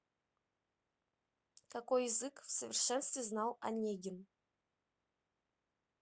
какой язык в совершенстве знал онегин